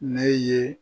Ne ye